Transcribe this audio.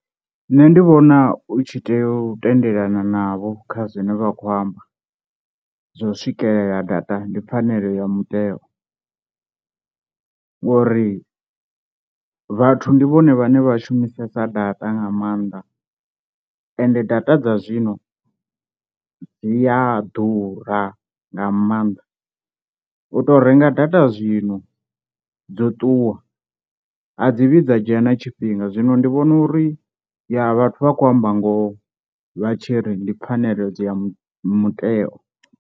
Nṋe ndi vhona u tshi tea u tendelana navho kha zwine vha khou amba, zwa u swikelela data ndi pfhanelo ya muteo ngori vhathu ndi vhone vhane vha shumisesa data nga maanḓa ende data dza zwino dzi a ḓura nga maanḓa, u tou renga data data zwino dzo ṱuwa a dzi vhidza dzhena tshifhinga, zwino ndi vhona uri ya vhathu vha kho amba ngoho vha tshiri ndi pfhaneledzo ya muteo.